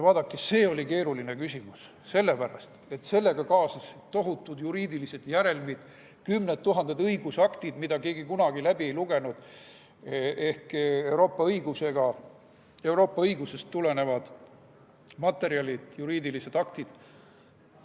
Vaadake, see oli keeruline küsimus, sest sellega kaasnesid tohutud juriidilised järelmid, kümned tuhanded õigusaktid, mida keegi kunagi läbi ei lugenud, ehk Euroopa õigusest tulenevad materjalid, juriidilised aktid.